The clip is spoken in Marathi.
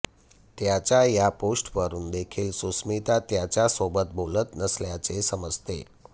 त्याच्या या पोस्टवरुन देखील सुष्मिता त्याच्यासोबत बोलत नसल्याचे समजते